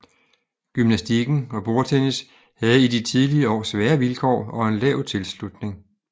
Gymnastikken og bordtennis havde i de tidlige år svære vilkår og en lav tilslutning